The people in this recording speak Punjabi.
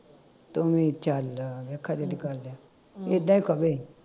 ਤੂੰ ਵੀ ਚੱਲ ਵੇਖਾਂ ਕਿਹੜੀ ਗੱਲ ਆ ਇੱਦਾਂ ਹੀ ਕਵੇ